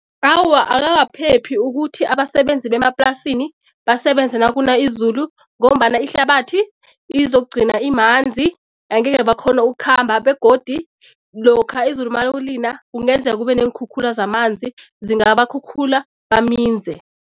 Awa, akakaphephi ukuthi abasebenzi bemaplasini basebenze nakuna izulu ngombana ihlabathi izokugcina imanzi, angeke bakghone ukukhamba begodu lokha izulu mawulina kungenzeka kube neenkhukhula zamanzi, zingabakhukhula baminze.